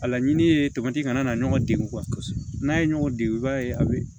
A laɲini ye kana na ɲɔgɔn degun kosɛbɛ n'a ye ɲɔgɔn dege i b'a ye a be